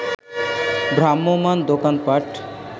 ভ্রাম্যমাণ দোকানপাট